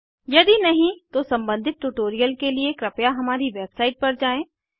यदि नहीं तो सम्बंधित ट्यूटोरियल के लिए कृपया हमारी वेबसाइट पर जाएँ